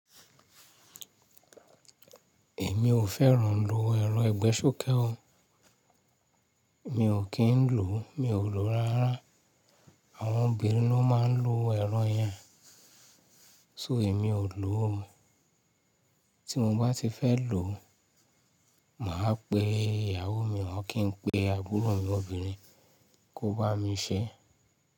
Èmi ò fẹ́ràn ló ẹrọ̀ ẹ̀gbẹ́ ṣókẹ́ o. Mi ò kí ń lò, mi ò lò rárá. Àwọn obìnrin ló máa ń lo ẹrọ̀ yẹn. So èmi ò lò o. Tí mo bá ti fẹ́ lò, mà á pe ìyàwó mi, ọr kì n pe àbúrò mi obìnrin kó bá mi ṣẹ́.